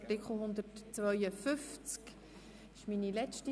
Art. 141–152 Angenommen